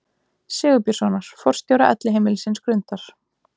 Sigurbjörnssonar, forstjóra Elliheimilisins Grundar.